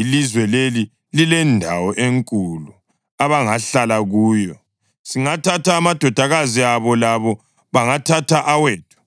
ilizwe leli lilendawo enkulu abangahlala kuyo. Singathatha amadodakazi abo labo bangathatha awethu.